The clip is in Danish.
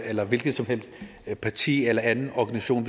eller hvilket som helst parti eller anden organisation